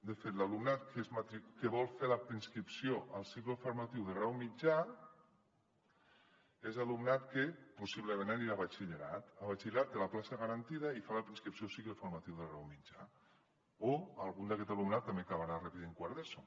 de fet l’alumnat que vol fer la preinscripció al cicle formatiu de grau mitjà és alumnat que possiblement anirà a batxillerat a batxillerat té la plaça garantida i fa la preinscripció al cicle formatiu de grau mitjà o algun d’aquest alumnat també acabarà repetint quart d’eso